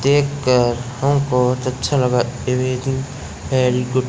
देखकर हमको अच्छा लगा गुड --